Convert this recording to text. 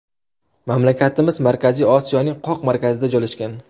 Mamlakatimiz Markaziy Osiyoning qoq markazida joylashgan.